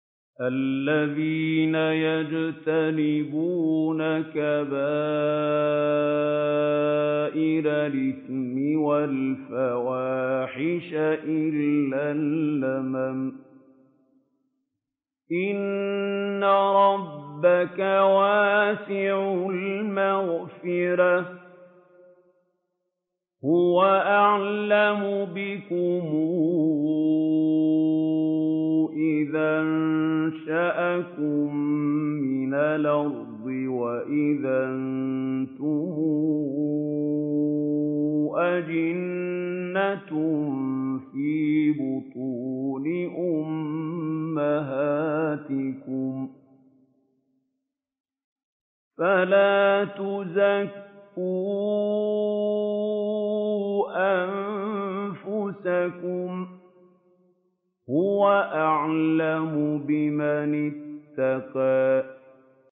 الَّذِينَ يَجْتَنِبُونَ كَبَائِرَ الْإِثْمِ وَالْفَوَاحِشَ إِلَّا اللَّمَمَ ۚ إِنَّ رَبَّكَ وَاسِعُ الْمَغْفِرَةِ ۚ هُوَ أَعْلَمُ بِكُمْ إِذْ أَنشَأَكُم مِّنَ الْأَرْضِ وَإِذْ أَنتُمْ أَجِنَّةٌ فِي بُطُونِ أُمَّهَاتِكُمْ ۖ فَلَا تُزَكُّوا أَنفُسَكُمْ ۖ هُوَ أَعْلَمُ بِمَنِ اتَّقَىٰ